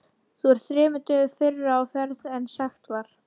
Þú ert þremur dögum fyrr á ferð en sagt var.